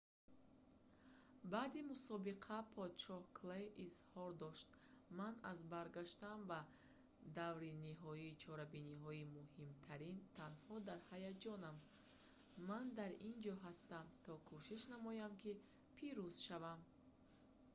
баъди мусобиқа подшоҳ клей изҳор дошт ман аз баргаштан ба даври ниҳоии чорабиниҳои муҳимтарин танҳо дар ҳаяҷонам ман дар ин ҷо ҳастам то кӯшиш намоям ки пирӯз шавам